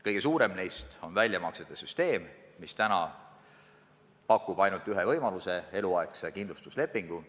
Kõige suurem neist on väljamaksete süsteem, mis täna pakub ainult ühte võimalust – eluaegset kindlustuslepingut.